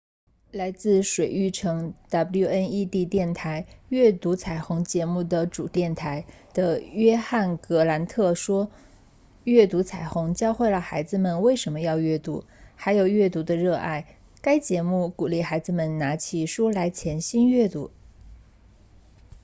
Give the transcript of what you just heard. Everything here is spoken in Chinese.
来自水牛城 wned 电台阅读彩虹”节目的主电台的约翰·格兰特 john grant 说：阅读彩虹教会了孩子们为什么要阅读还有对阅读的热爱——该节目鼓励孩子们拿起书来潜心阅读